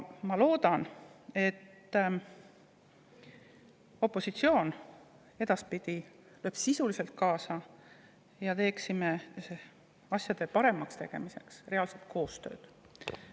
Ma loodan, et opositsioon lööb edaspidi sisuliselt kaasa ja me saame asjade paremaks muutmise nimel teha reaalselt koostööd.